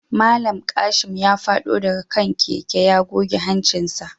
Mallam Kashim ya fado daga kan keken yana goge hancinsa